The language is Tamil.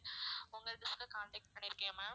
உங்க dish க்க contact பண்ணிருக்கேன் ma'am